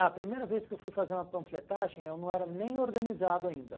A primeira vez que eu fui fazer uma panfletagem, eu não era nem organizado ainda.